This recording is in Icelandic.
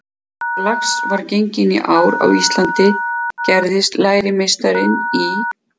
Þegar lax var genginn í ár á Íslandi gerðist lærimeistarinn í